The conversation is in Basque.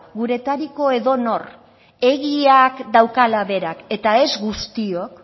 guretariko edonor egiak daukala berak eta ez guztiok